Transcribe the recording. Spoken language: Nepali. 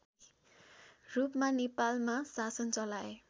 रूपमा नेपालमा शासन चलाए